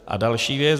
A další věc.